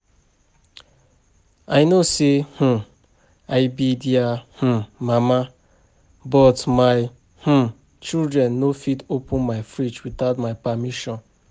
I know say um I be their um mama but my um children no go fit open my fridge without my permission